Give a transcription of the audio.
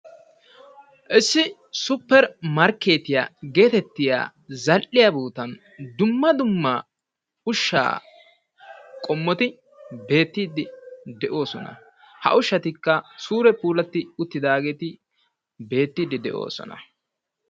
Issi supper markkeetiya getettiya zal"iya sohuwan dumma dumma ushshaa qommotti beettiiddi de"oosona. Ha ushshatikka sure puulattidi uttidaagetti beettiiddi de"oosona.